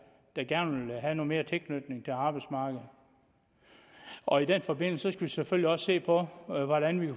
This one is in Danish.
der gerne vil have noget mere tilknytning til arbejdsmarkedet og i den forbindelse skal vi selvfølgelig også se på hvordan vi